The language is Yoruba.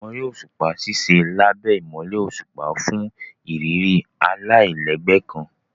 Àwọn eré òṣùpá ṣiṣẹ lábé imọlẹ òṣùpá fún ìrírí alailẹgbẹ kàn.